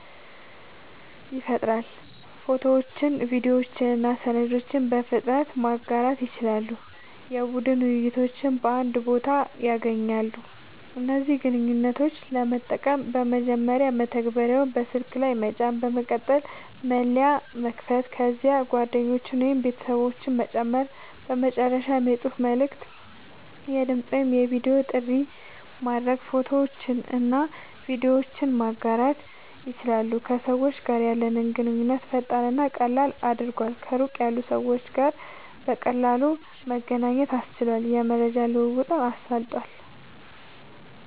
ይፈጥራሉ። ፎቶዎችን፣ ቪዲዮዎችን እና ሰነዶችን በፍጥነት ማጋራት ይችላሉ። የቡድን ውይይቶችን በአንድ ቦታ ያገናኛሉ። እነዚህን ግንኙነቶች ለመጠቀም፦ መጀመሪያ መተግበሪያውን በስልክ ላይ መጫን፣ በመቀጠል መለያ መክፈት፣ ከዚያም ጓደኞችን ወይም ቤተሰቦችን መጨመር፣ በመጨረሻም የጽሑፍ መልዕክት፣ የድምጽ ወይም የቪዲዮ ጥሪ ማድረግ፣ ፎቶዎችንና ቪዲዮዎችን ማጋራት ይችላሉ። ከሰዎች ጋር ያለንን ግንኙነት ፈጣንና ቀላል አድርጓል፣ ከሩቅ ያሉ ሰዎች ጋር በቀላሉ መገናኘት አስችሏል፣ የመረጃ ልዉዉጥን አሳልጧል